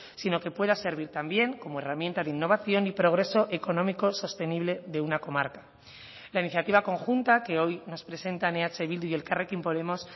sino que pueda servir también como herramienta de innovación y progreso económico sostenible de una comarca la iniciativa conjunta que hoy nos presentan eh bildu y elkarrekin podemos